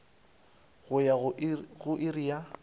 go ya go iri ya